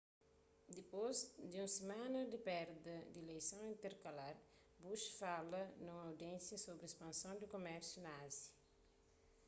dipôs di un simana di perda di ileison interkalar bush fala nun audiénsia sobri spanson di kumérsiu na ázia